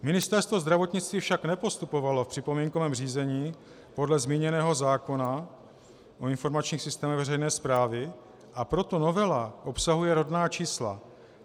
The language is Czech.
Ministerstvo zdravotnictví však nepostupovalo v připomínkovém řízení podle zmíněného zákona o informačních systémech veřejné správy, a proto novela obsahuje rodná čísla.